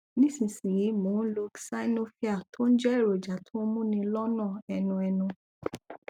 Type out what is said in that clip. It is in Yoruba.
nísinsìnyí mo ń lo xynovir tó ń jẹ èròjà tó ń múni lọnà ẹnu ẹnu